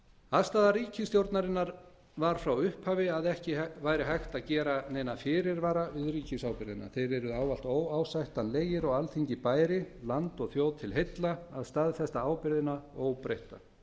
afstaða ríkisstjórnarinnar var frá upphafi að ekki væri hægt að gera neina fyrirvara við ríkisábyrgðina þeir yrðu ávallt óásættanlegir og alþingi bæri landi og þjóð til heilla að staðfesta ábyrgðina óbreytta